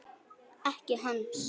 Ekki hans.